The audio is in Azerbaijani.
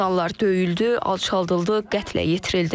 İnsanlar döyüldü, alçaldıldı, qətlə yetirildi.